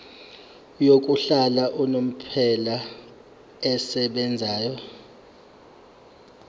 yokuhlala unomphela esebenzayo